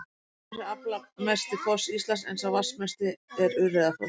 Dettifoss er aflmesti foss Íslands en sá vatnsmesti er Urriðafoss.